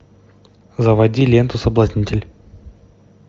заводи ленту соблазнитель